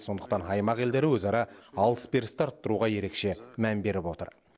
сондықтан аймақ елдері өзара алыс берісті арттыруға ерекше мән беріп отыр